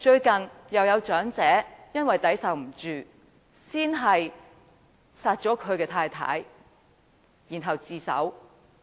近日又有長者因為抵受不住壓力，先殺死妻子再向警方自首。